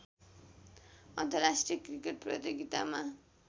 अन्तर्राष्ट्रिय क्रिकेट प्रतियोगितामा